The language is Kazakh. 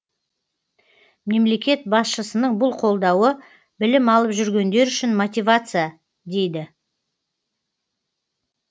мемлекет басшысының бұл қолдауы білім алып жүргендер үшін мотивация дейді